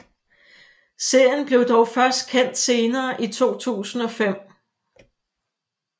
Serien blev dog først kendt senere i 2005